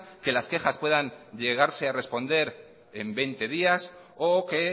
que las quejas puedan llegarse a responder en veinte días o que